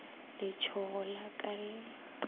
letshogo le a ka le